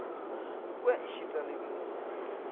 kwe e šita le dinonyana